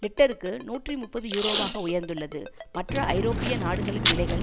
லிட்டருக்கு நூற்றி முப்பது யூரோவாக உயர்ந்துள்ளது மற்ற ஐரோப்பிய நாடுகளின் விலைகள்